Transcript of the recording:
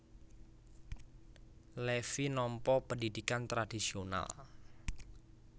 Levi nampa pendhidhikan tradhisional